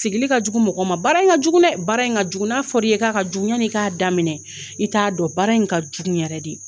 Sigili ka jugu mɔgɔ ma baara in ka jugu dɛ baara in ka jugu n'a fɔra i ye k'a ka jugu yani i k'a daminɛ i t'a dɔn baara in ka jugu yɛrɛ de